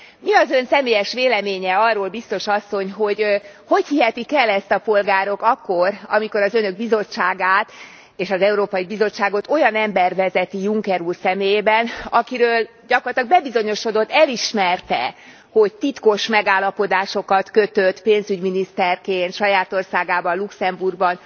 Mi az Ön személyes véleménye arról, biztos asszony, hogy hogy hihetik el ezt a polgárok akkor, amikor az Önök bizottságát és az Európai Bizottságot olyan ember vezeti Juncker úr személyében, akiről gyakorlatilag bebizonyosodott, elismerte, hogy titkos megállapodásokat kötött pénzügyminiszterként saját országában, Luxemburgban